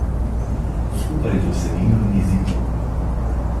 Skupaj z vsebino in jezikom.